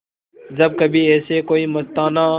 जब कभी ऐसे कोई मस्ताना